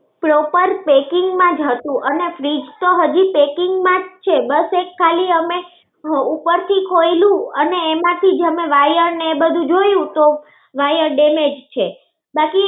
proper parking માં જ હતું અને fridge તો હજી packing માં જ છે. બસ એક ખાલી અમે ઉપર થી ખોયલું અને એમાંથી જ અમે wire ને એ બધું જોયું તો wire damage છે.